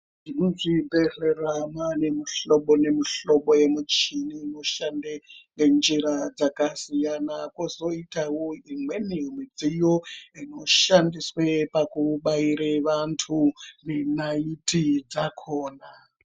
Muzvibhehlera mwaanemihlobo nemihlobo yemuchini inoshande ngenjira dzakasiyana. Kozoitawo imweni midziyo inoshandiswe pakubaire vantu, nenaiti dzakona.